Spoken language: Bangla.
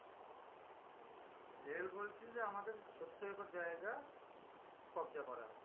রেল বলছে যে, আমাদের সত্তর একর জায়গা কবজা করা আছে।